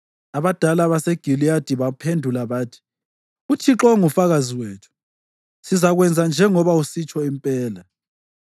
Abadala baseGiliyadi baphendula bathi, “ UThixo ungufakazi wethu; sizakwenza njengoba usitsho impela.”